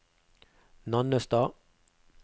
Nannestad